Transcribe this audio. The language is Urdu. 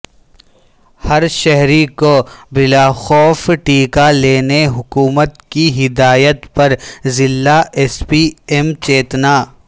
ہر شہری کو بلاخوف ٹیکہ لینے حکومت کی ہدایت پر ضلع ایس پی ایم چیتنا